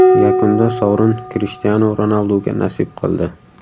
Yakunda sovrin Krishtianu Ronalduga nasib qildi .